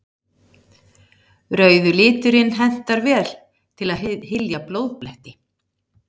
Rauði liturinn hentar vel til að hylja blóðbletti.